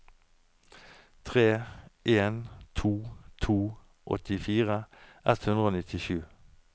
tre en to to åttifire ett hundre og nittisju